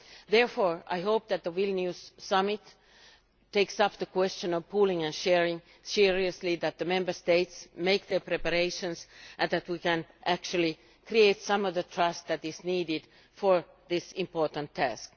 Therefore, I hope that the Vilnius Summit will take the question of pooling and sharing seriously, that the Member States will make their preparations and that we can create some of the trust that is needed for this important task.